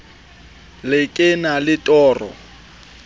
le ke na le toro